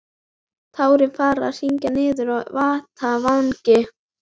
Tárin farin að hrynja niður á heita vanga.